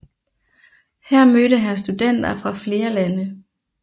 Her mødte han studenter fra flere lande